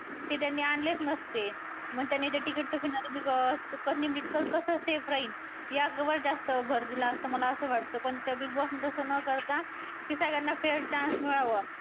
ते त्यांनी आणलेच नसते. मग त्यांनी ते ticket to finale निमरीत कसं safe राहील. याच वर जास्त भर दिला असता मला असं वाटतं पण त्या Big Boss ने तसं न करता सगळ्यांना fare chance मिळावा